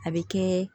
A bɛ kɛ